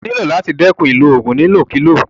O nílò láti dẹ́kun ìlò oògùn ní ìlòkulò.